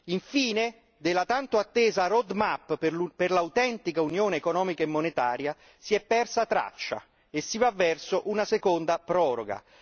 Infine della tanto attesa roadmap per l'autentica Unione economica e monetaria si è persa traccia e si va verso una seconda proroga.